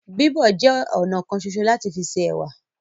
Bíbọ̀ jẹ ọnà kan ṣoṣo lati fi se ẹwà.